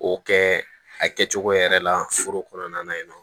O kɛ a kɛcogo yɛrɛ la foro kɔnɔna na yen nɔ